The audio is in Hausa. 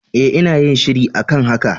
E, ina yin shiri a kan haka.